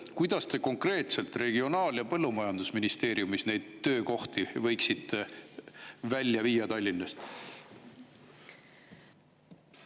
Kuidas te konkreetselt Regionaal- ja Põllumajandusministeeriumis neid töökohti võiksite välja viia Tallinnast?